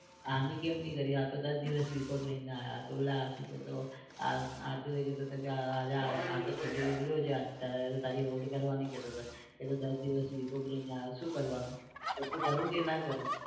આની કેમ ના કરી આતો દસ દિવસ week off લઇ ને આયો તો પેલા શું કેતો હાર્દિકભાઈ કેતા તા કે આજે છોટુ આજે બગડ્યો છે આજે તારી hold કરવાની કેતો તો કે દસ દિવસ week off લઇ ને આયો શું કરવાનું તો કરું કે ના કરું?